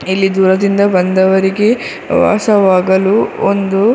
ಇಲ್ಲಿ ದೂರದಿಂದ ಬಂದವರಿಗೆ ವಾಸವಾಗಲು ಒಂದು --